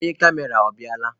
Onye kamera ọ bịala?